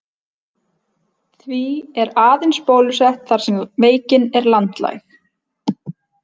Því er aðeins bólusett þar sem veikin er landlæg.